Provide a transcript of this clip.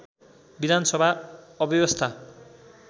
विधान सभा अव्यवस्था